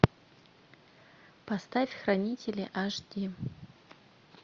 поставь хранители аш ди